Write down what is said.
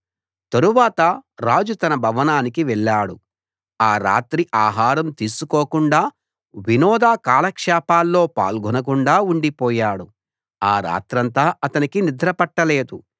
తరువాత రాజు తన భవనానికి వెళ్ళాడు ఆ రాత్రి ఆహారం తీసుకోకుండా వినోద కాలక్షేపాల్లో పాల్గొనకుండా ఉండిపోయాడు ఆ రాత్రంతా అతనికి నిద్ర పట్టలేదు